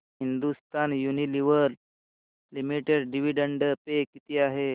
Hindustan Unilever limited dividend pay किती आहे